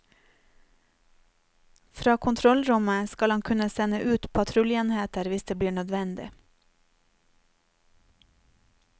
Fra kontrollrommet skal han kunne sende ut patruljeenheter hvis det blir nødvendig.